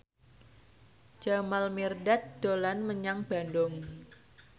Jamal Mirdad dolan menyang Bandung